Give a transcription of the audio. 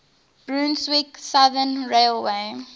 brunswick southern railway